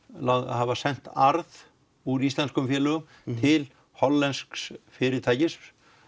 hafa sent arð úr íslenskum félögum til hollensks fyrirtækis